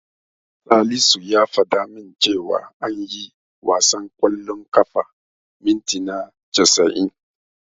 Salisu ya fada min cewa ana yin wasan ƙwallon ƙafa mintina casa'in.